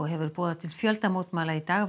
hefur boðað til fjöldamótmæla í dag